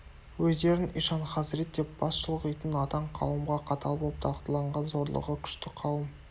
өздерін ишан хазірет деп бас шұлғитын надан қауымға қатал боп дағдыланған зорлығы күшті қауым